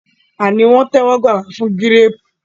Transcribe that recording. a ní wón tẹwọgbà wá pẹlu Gírèèpù